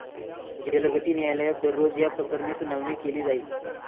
जलगती न्यायालयात दररोज याप्रकरणी सुनावणी केली जाईल.